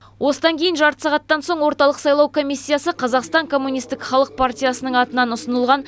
осыдан кейін жарты сағаттан соң орталық сайлау комиссиясы қазақстан коммунистік халық пратиясының атынан ұсынылған